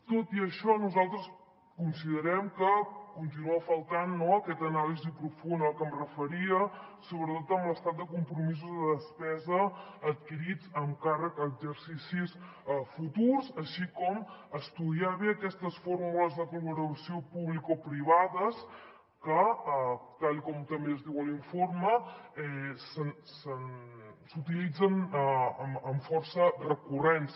tot i això nosaltres considerem que continua faltant no aquesta anàlisi profunda a la que em referia sobretot amb l’estat de compromisos de despesa adquirits amb càrrec a exercicis futurs així com estudiar bé aquestes fórmules de col·laboració publicoprivades que tal com també es diu a l’informe s’utilitzen amb força recurrència